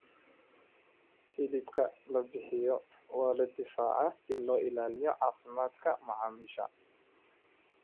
Hilibka la bixiyo waa la difaacaa si loo ilaaliyo caafimaadka macaamiisha.